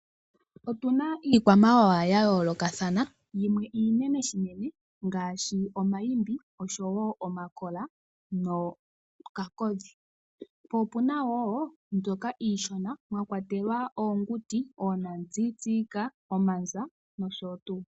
Otuna iikwamawawa ya yoolokathana yimwe iinene unene ngaashi omaimbi oshowo omakola nookakodhi . Po opuna woo mbyoka iishona mwakwatelwa oonguti, oonatsitsika ,omanza nosho tuu